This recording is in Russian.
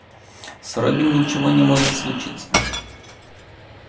с робби ничего не может случиться